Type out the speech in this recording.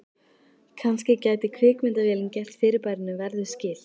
Kannski gæti kvikmyndavélin gert fyrirbærinu verðug skil.